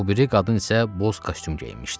O biri qadın isə boz kostyum geyinmişdi.